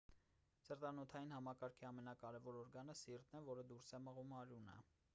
սրտանոթային համակարգի ամենակարևոր օրգանը սիրտն է որը դուրս է մղում արյունը